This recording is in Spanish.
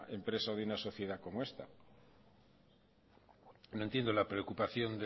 empresa o de una sociedad como esta no entiendo la preocupación